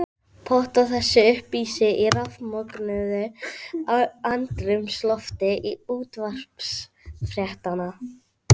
Pétur Viðarsson Fallegasta knattspyrnukonan?